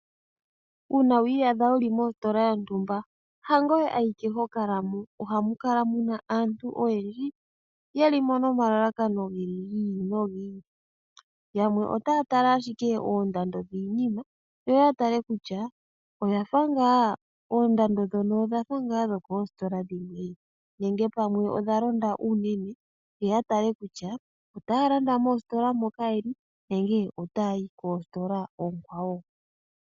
Uuna wiiyadha wuli mositola yontumba yangoye awike hokalamo, ohamukala muna aantu oyendji yeli mo nomalalakano gi ili no gi ili, yamwe otaya tala ashike oondando dhiinima yoya tala kutya oondando dhono odhafa ngaa dhokoositola dhimwe nenge pamwe odhalonda unene yo yatale kutya otaya landa mositola moka yeli nenge ota yayi kositola oonkwawo.